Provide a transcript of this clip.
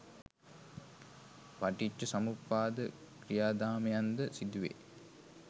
පටිච්චසමුප්පාද ක්‍රියාදාමයන් ද සිදුවේ.